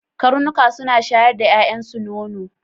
Karnuka suna shayar da ƴaƴansu nono.